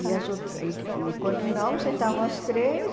E as outras e e quando não, sentava as três.